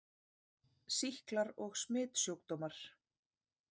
SÝKLAR OG SMITSJÚKDÓMAR